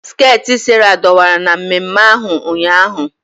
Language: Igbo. Skeeti Sarah dọwara na mmemme ahu ụnyaahụ.